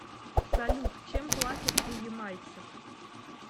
салют чем платят у ямайцев